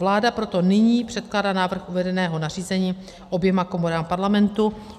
Vláda proto nyní předkládá návrh uvedeného nařízení oběma komorám Parlamentu.